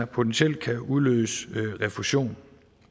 potentielt kan udløse refusion